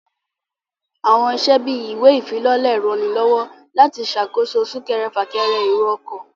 Àwọn iṣẹ́ bíi ìwé ìfilọ́lẹ̀ ń ranilọ́wọ́ láti ṣàkóso súnkẹrẹ fà kẹrẹ èrò ọkọ̀